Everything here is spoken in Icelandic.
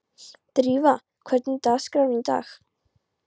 Drífa, hvernig er dagskráin í dag?